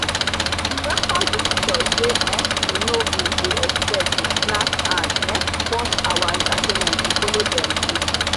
we welcome visitors wey um we no bin dey expect with snacks and um pause our entertainment to follow them gist.